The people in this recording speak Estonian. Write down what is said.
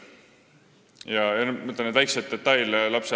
Lapse arengu jälgimisel on palju väikseid detaile.